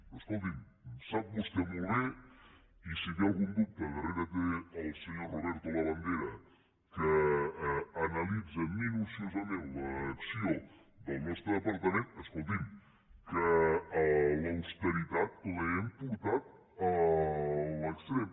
però escolti’m sap vostè molt bé i si té algun dubte darrere té el senyor roberto labandera que analitza minuciosament l’acció del nostre departament que l’austeritat l’hem portat a l’extrem